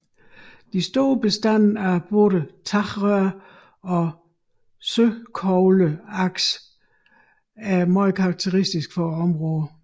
De store bestande af både tagrør og søkogleaks er meget karakteristiske for området